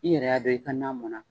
I yɛrɛ y'a dɔn i ka na mɔnna